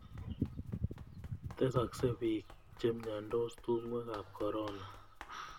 Tesaksei piik che miandos tung'wek ap korona